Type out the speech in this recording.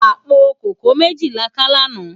Apó kókòó méji lá ká làná